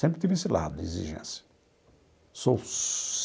Sempre tive esse lado, exigência sou.